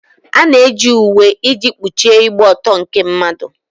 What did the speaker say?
A na-eji uwe iji kpuchie ịgba ọtọ nke mmadụ.